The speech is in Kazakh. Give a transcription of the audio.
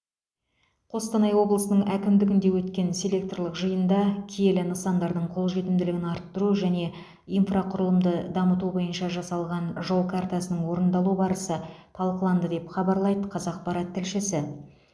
қостанай облысының әкімдігінде өткен селекторлық жиында киелі нысандардың қолжетімділігін арттыру және инфрақұрылымды дамыту бойынша жасалған жол картасының орындалу барысы талқыланды деп хабарлайды қазақпарат тілшісі